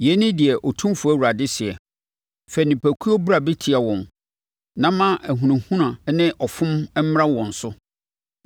“Yei ne deɛ Otumfoɔ Awurade seɛ: Fa nipakuo bra bɛtia wɔn na ma ahunahuna ne ɔfom mmra wɔn so.